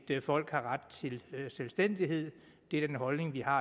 et folk har ret til selvstændighed det er den holdning vi har